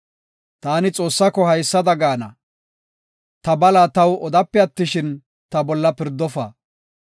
Taani Xoossaako haysada gaana; ta bala taw odape attishin, ta bolla pirdofa.